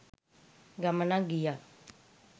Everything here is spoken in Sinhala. ගමනක් ගියා.